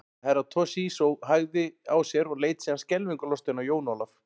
Herra Toshizo hægði á sér og leit síðan skelfingu lostinn á Jón Ólaf.